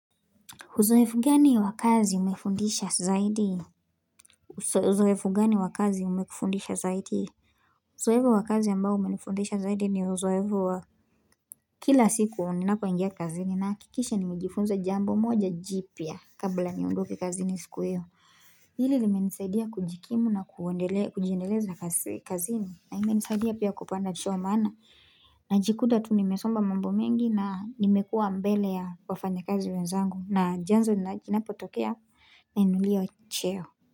Huzoefu gani wa kazi umefundisha zaidi? Huzoefu gani wakazi umefundisha zaidi? Uzoefu wa kazi ambao umenifundisha zaidi ni uzoefu wa kila siku ninapo ingia kazini nahakikisha nimejifunza jambo moja jipya kabla niondokile kazini siku hio. Hili limenisaidia kujikimu na kujiendeleza kazini na imenisaidia pia kupanda cheo maana. Najikuta tu nimesoma mambo mengi na nimekuwa mbele ya wafanyakazi wenzangu. Na jazno inapotokea nainuliwa cheo.